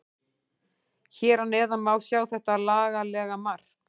Hér að neðan má sjá þetta laglega mark.